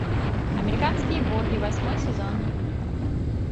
американские боги восьмой сезон